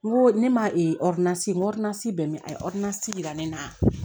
N ko ne ma bɛ min a ye yira ne la